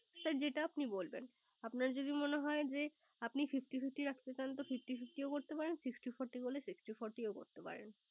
Sir যেটা আপনি বলবেন। আপনার যদি মনে হয় যে আপনি Fifty fifty রাখতে চান তো Fifty fifty করতে পারেন। আবার Sixty forty হলে S ixty forty ও করতে পারেন